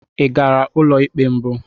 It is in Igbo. Ị gara ụlọ ikpe mbụ?